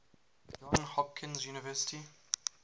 johns hopkins university